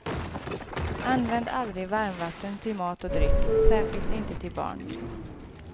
Använd aldrig varmvatten till mat och dryck, särskilt inte till barn.